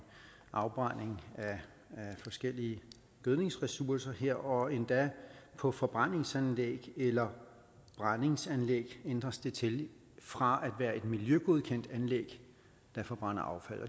afbrænding af forskellige gødningsressourcer her og endda på forbrændingsanlæg eller brændingsanlæg ændres det til fra at være et miljøgodkendt anlæg der forbrænder affald og